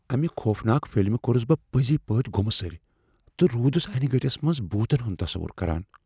امہ خوفناک فلمہ كورٗس بہٕ پٕزۍپٲٹھۍ گٗمہٕ سٕرۍ تہٕ رودس انیہِ گٕٹس منز بوتن ہنٛد تصور کران۔